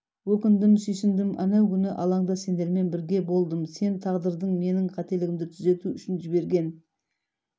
өкіндім сүйсіндім әнеугүні алаңда сендермен бірге болдым сен тағдырдың менің қателігімді түзету үшін жіберген